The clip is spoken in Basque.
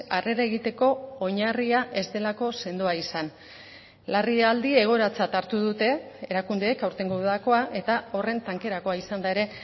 harrera egiteko oinarria ez delako sendoa izan larrialdi egoeratzat hartu dute erakundeek aurtengo udakoa eta horren tankerakoa izan da ere